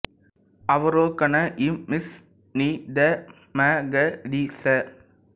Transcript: அவரோகணம் ஸ் நி த ம க ரி ஸ